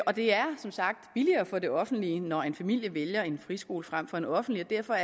og det er som sagt billigere for det offentlige når en familie vælger en friskole frem for en offentlig og derfor